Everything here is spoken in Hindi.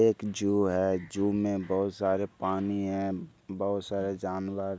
एक जू है जू में बहुत सारे पानी है बहुत सारे जानवर है।